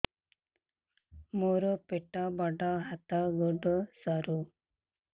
ମୋର ପେଟ ବଡ ହାତ ଗୋଡ ସରୁ